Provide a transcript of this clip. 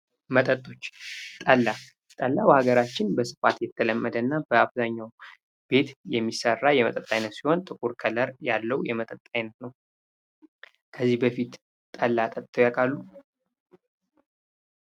መጠጦች ጠላ ጠላ በሀገራችን በስፋት የተለመደ እና በአብዛኛው ቤት የሚሰራ የመጠጥ አይነት ሲሆን ጥቁር ከለር ያለው የመጠጥ አይነት ነው። ከዚህ በፊት ጠላ ጠጥተው ያውቃሉ?